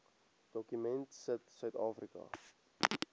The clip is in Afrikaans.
dokument sit suidafrika